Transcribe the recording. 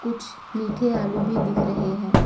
कुछ मीठे आलू भी दिख रहे हैं।